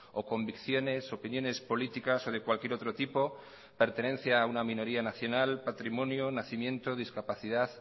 o convicciones opiniones políticas o de cualquier otro tipo pertenencia a una minoría nacional patrimonio nacimiento discapacidad